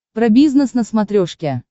про бизнес на смотрешке